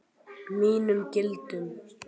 Mínum gildum.